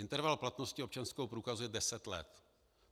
Interval platnosti občanského průkazu je deset let.